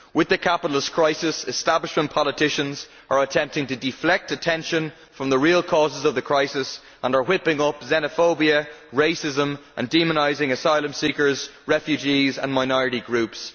With the capitalist crisis, establishment politicians are attempting to deflect attention from the real causes of the crisis and are whipping up xenophobia and racism and demonising asylum seekers, refugees and minority groups.